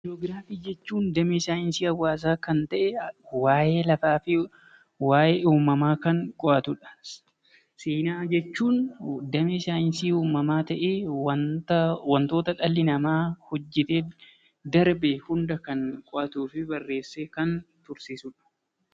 Ji'oogiraafii jechuun damee saayinsii hawaasaa kan ta'e, waa'ee lafaa fi waa'ee uumamaa kan qo'atudha. Seenaa jechuun damee saayinsii uumamaa ta'ee waantota dhalli namaa hojjetee hunda kan qo'atuu fi barreessee kan tursiisudha.